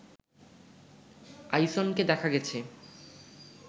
আইসনকে দেখা গেছে